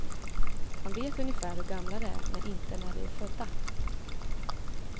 Han vet ungefär hur gamla de är, men inte när de är födda.